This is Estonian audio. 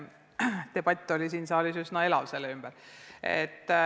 Debatt selle üle oli tollal siin saalis üsna elav.